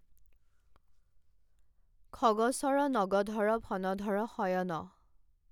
খগচৰ নগধৰ ফনধৰ শয়ন।